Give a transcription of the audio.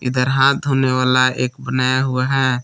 इधर हाथ धोने वाला एक बनाया हुआ है।